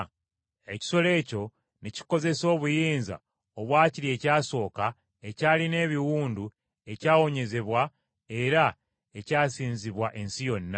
Ekisolo ekyo ne kikozesa obuyinza obwa kiri ekyasooka ekyalina ekiwundu ekyawonyezebwa era ekyasinzibwa ensi yonna.